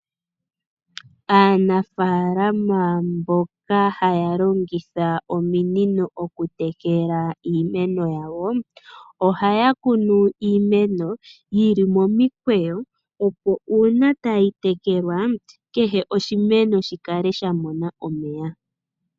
Aanafalama mboka haya longitha ominino okutekela iimeno yawo , ohaya kunu iimeno yili momikweyo opo uuna tayi tekelwa, kehe oshimeno shi kale sha mona omeya .